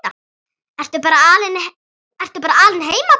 Ertu bara alein heima barn?